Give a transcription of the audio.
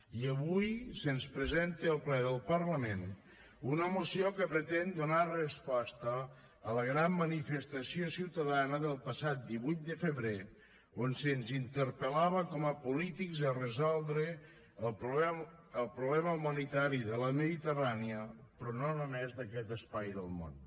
i avui se’ns presenta al ple del parlament una moció que pretén donar resposta a la gran manifestació ciutadana del passat divuit de febrer on se’ns interpel·lava com a polítics a resoldre el problema humanitari de la mediterrània però no només d’aquest espai del món